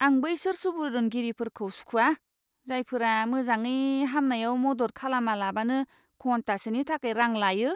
आं बैसोर सुबुरुनगिरिफोरखौ सुखुया, जायफोरा मोजाङै हामनायाव मदद खालामालाबानो घन्टासेनि थाखाय रां लायो।